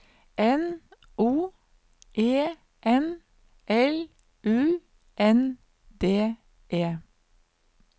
N O E N L U N D E